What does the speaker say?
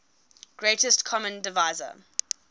greatest common divisor